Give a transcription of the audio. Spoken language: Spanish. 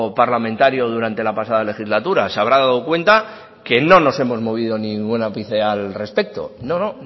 parlamentario durante la pasada legislatura se habrá dado cuenta que no nos hemos movido ningún ápice al respecto no no